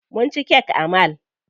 Mu ci kek a mall.